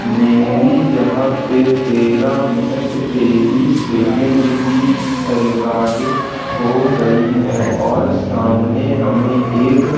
मेरी यहां पर तेरह मिनट तेईस सेकंड की रिकॉर्डिंग हो गई है और सामने हमें एक-